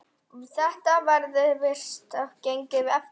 Þetta virðist hafa gengið eftir.